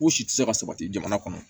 U si tɛ se ka sabati jamana kɔnɔ